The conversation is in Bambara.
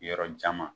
Yɔrɔjan ma